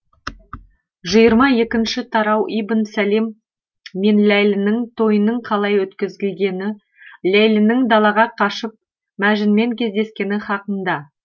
жиырма екінші тарауибн сәлім мен ләйлінің тойының қалай өткізілгені ләйлінің далаға қашып мәжінмен кездескені хақында